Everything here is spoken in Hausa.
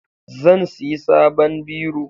Zan siyi saban biro